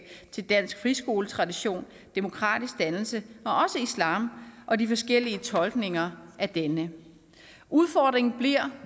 til dansk friskoletradition demokratisk dannelse og også islam og de forskellige tolkninger af denne udfordringen bliver